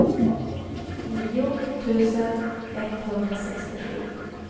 nio tusen etthundrasextiosju